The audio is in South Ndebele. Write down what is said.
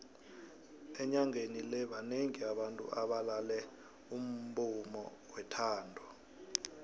enyangeni le banengi abantu abalale umbumo wethando